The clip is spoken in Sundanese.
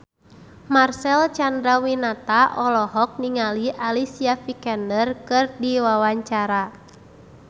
Marcel Chandrawinata olohok ningali Alicia Vikander keur diwawancara